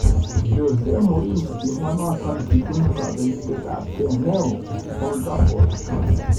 Jose Mourinho kimwa notok kiibun kabeletabgei ne o Old Trafford.